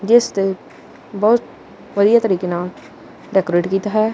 ਜਿਸ ਤੇ ਬਹੁਤ ਵਧੀਆ ਤਰੀਕੇ ਨਾਲ ਡੈਕੋਰੇਟ ਕੀਤਾ ਹੈ।